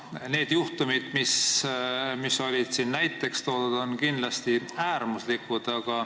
Need juhtumid, mis siin näiteks toodi, on kindlasti äärmuslikud.